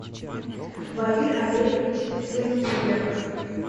баир олегович цвенкиберг